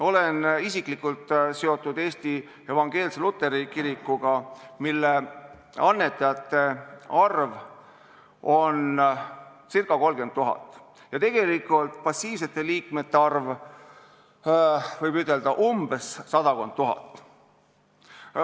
Olen isiklikult seotud Eesti Evangeelse Luteri Kirikuga, mille annetajate arv on ca 30 000 ja passiivsete liikmete arv, võib ütelda, umbes sada tuhat.